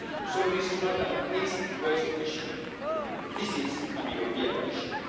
So this is not an east west issue, this is a European issue.